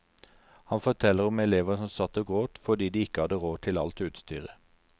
Han forteller om elever som satt og gråt fordi de ikke hadde råd til alt utstyret.